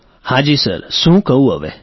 રાજેશ પ્રજાપતિઃ હાં જી સર શું કહું હવે